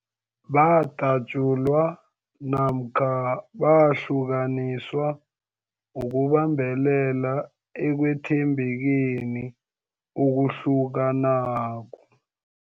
Badatjulwa namkha bahlukaniswa ukubambelela ekwethembekeni okuhlukanako.